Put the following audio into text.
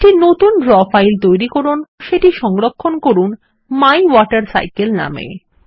একটি নতুন draw file তৈরি করুন সেটি সংরক্ষণ করুন মাইওয়াটারসাইকেল নামে